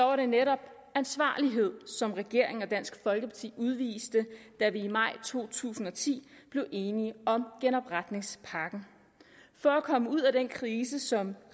var netop ansvarlighed som regeringen og dansk folkeparti udviste da vi i maj to tusind og ti blev enige om genopretningspakken for at komme ud af den krise som